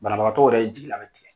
Banabagatɔ yɛrɛ jigila bɛ tigɛ.